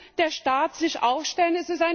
Da muss der Staat sich aufstellen.